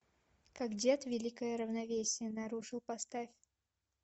как дед великое равновесие нарушил поставь